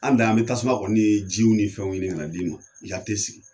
An dan ye an be tasuma kɔni ni jiw ni fɛn ɲini ka d'i ma i ka te sigi.